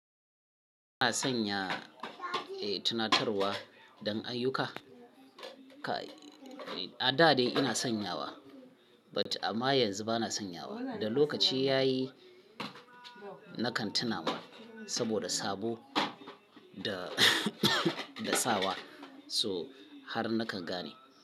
A sanya, eh, tunatarwa don ayyuka. Kai, a da dai ina sanyawa but amma yanzu ba na sanyawa. Da lokaci ya yi nakan tuna ma saboda sabo da, da sawa so har na kan gane.